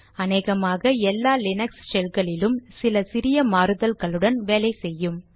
அநேகமாக எல்லா லீனக்ஸ் ஷெல்களிலும் சில சிறிய மாறுதல்களுடன் வேலை செய்யும்